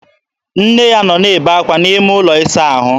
Nne ya nọ na-ebe ákwá n'ime ụlọ ịsa ahụ.